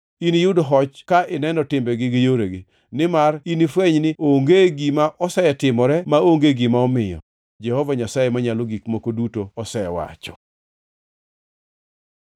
Iniyud hoch ka ineno timbegi gi yoregi, nimar inifweny ni onge gima asetimone maonge gima omiyo, Jehova Nyasaye Manyalo Gik Moko Duto osewacho.”